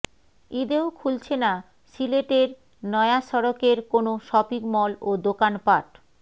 ঈদেও খুলছে না সিলেটের নয়াসড়কের কোন শপিংমল ও দোকানপাট